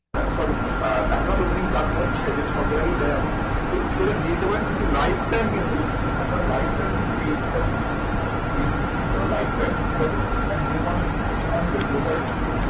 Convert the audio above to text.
আহ sorry account opening charge চায় ঠিক আছে যেটা সব জায়গাতেই চায় এখন। তো সেটা দিয়ে দিতে পারেন কিন্তু life time কিন্তু আপনার life time কিন্তু এই recharge টি life time ঠিক আছে and কি?